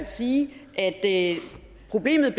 sige at problemet